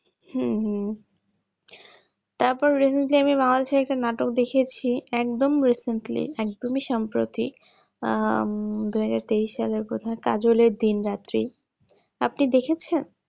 হম হম তারপরে recently আমরা bangladesh এ একটা নাটক দেখেছি একদম recently একদমই সম্প্রতি দু হাজার তেইশ সালে কাজলের দিন রাত্রি বোধহয় আপনি দেখেছেন